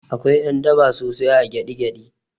Akwai ƴan daba sosai a gyaɗi gyaɗi